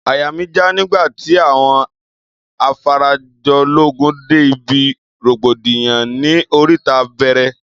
Àyà mí jà nígbàtí àwọn Afarajológun dé ibí rògbòdìyàn ní oríta bẹẹrẹ